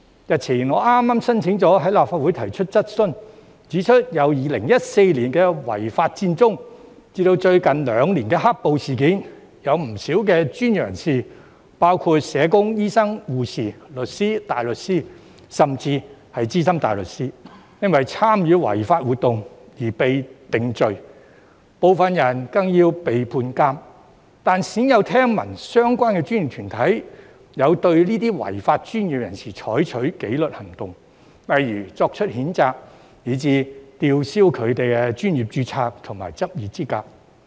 日前，我剛申請了在立法會提出質詢，指出由2014年的違法佔中以至最近兩年的"黑暴"事件，有不少專業人士——包括社工、醫生、護士、律師、大律師，甚至是資深大律師——因為參與違法活動而被定罪，部分人更要被判監，但鮮有聽聞相關專業團體有對這些違法的專業人士採取紀律行動，例如作出譴責，以至吊銷他們的專業註冊和執業資格。